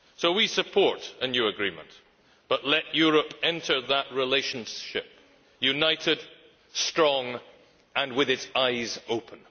We therefore support a new agreement, but let Europe enter that relationship united, strong and with its eyes open.